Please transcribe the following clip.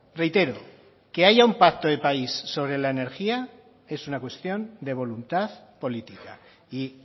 reitero que haya un pacto de país sobre la energía es una cuestión de voluntad política y